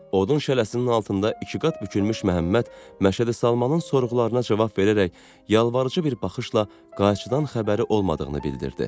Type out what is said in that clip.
Odun şələsinin altında iki qat bükülmüş Məhəmməd Məşədi Salmanın sorğularına cavab verərək yalvarıcı bir baxışla qayçıdan xəbəri olmadığını bildirdi.